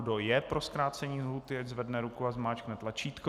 Kdo je pro zkrácení lhůty, ať zvedne ruku a zmáčkne tlačítko.